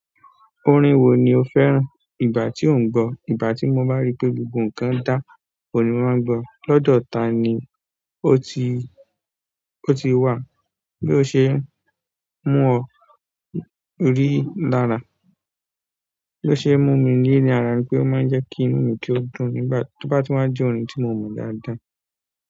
Orin wo ni o fẹ́ràn? Ìgbà tí ò ń gbọ́, ìgbà tí mo bá rí pé gbogbo nǹkan dá òun ní mo máa n gbọ́ọ. Lọ́dọ̀ ta ni ó ti, ó ti wà? Bí o ṣe ń mú ọ rí lára. Bí o ṣe ń mú mi rí ní ara ni pé ó máa ń jẹ́ kí inú mi tó dùn nígbà tí wọ́n bá ń jẹ́ orin tí mo mọ̀ dáadáa.